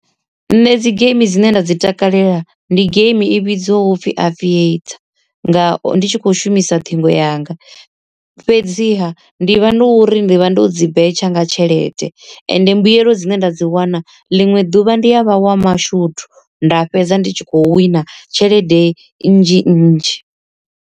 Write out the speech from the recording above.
Nṋe dzi geimi dzine nda dzi takalela ndi geimi i vhidzwaho upfhi aviator nga ndi tshi kho shumisa ṱhingo yanga. Fhedziha ndi vha no uri ndi vha ndo dzi betsha nga tshelede ende mbuyelo dzine ndavha ndo dzi wana ḽiṅwe ḓuvha ndi ya vha wa mashudu nda fhedza ndi tshi khou wina tshelede nnzhi nnzhi.